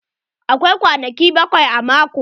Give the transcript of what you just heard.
Akwai kwanaki bakwai a mako.